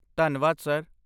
ਧੰਨਵਾਦ ਸਰ।